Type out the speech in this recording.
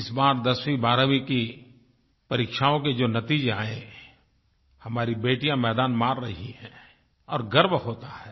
इस बार 10वीं12वीं की परीक्षाओं के जो नतीजे आये हैं हमारी बेटियाँ मैदान मार रही हैं और गर्व होता है